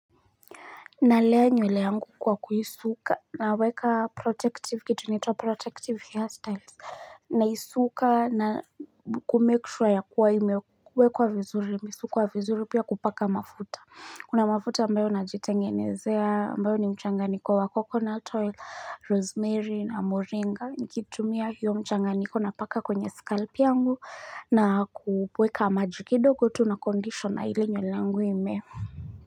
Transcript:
Nalea nywele yangu kwa kuisuka naweka protective kitu inatoa protective hairstyles naisuka na kumake sure yakua imewekwa vizuri, misuko ya vizuri pia kupaka mafuta. Kuna mafuta ambayo najitengenezea ambayo ni mchanganiko wa coconut oil, rosemary na moringa. Nikitumia hiyo mchanganiko napaka kwenye scalp yangu na kuweka maji kidogo tu na conditioner ili nywele yangu imee.